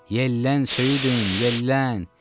Yellən söyüdüm, yellən!